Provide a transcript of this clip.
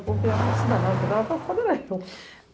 O povo queria mais esse danado, quem tava preocupado era eu.